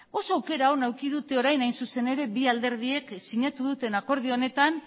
oso aukera eduki dute orain hain zuzen ere bi alderdiek sinatu duten akordio honetan